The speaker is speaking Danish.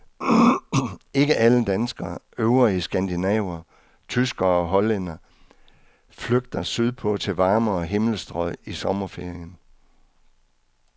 Ikke alle danskere, øvrige skandinaver, tyskere og hollændere flygter sydpå til varmere himmelstrøg i sommerferien.